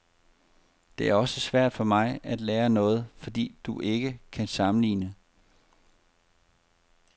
Det er også svært for mig at lære noget, fordi du ikke kan sammenligne.